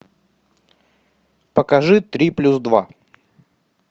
покажи три плюс два